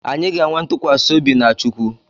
Anyị ga-enwe ntụkwasị obi na chukwu